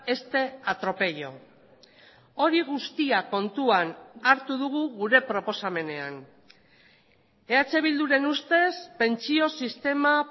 este atropello hori guztia kontuan hartu dugu gure proposamenean eh bilduren ustez pentsio sistema